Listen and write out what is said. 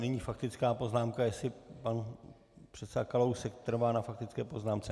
Nyní faktická poznámka - jestli pan předseda Kalousek trvá na faktické poznámce?